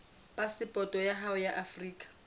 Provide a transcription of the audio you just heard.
phasepoto ya hao ya afrika